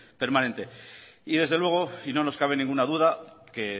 permanente y desde luego y no nos cabe ninguna duda que